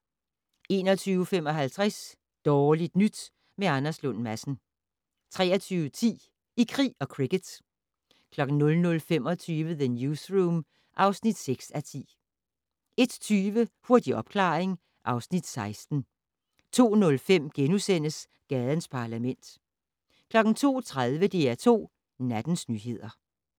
21:55: Dårligt nyt med Anders Lund Madsen 23:10: I krig og cricket 00:25: The Newsroom (6:10) 01:20: Hurtig opklaring (Afs. 16) 02:05: Gadens Parlament * 02:30: DR2 Nattens nyheder